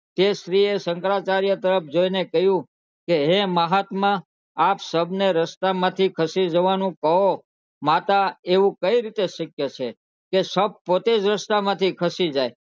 તે સ્ત્રી એ શંકરાચાર્ય તરફ જોઈ ને કહ્યું કે હે મહાત્મા આપ શવ ને રસ્તા માં થી ખસી જવાનું કહો માતા એવું કઈ રીતે શક્ય છે કે શવ પોતે જ રસ્તા માં થી ખસી જાય